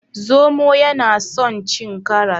Zomo yana son cin karas.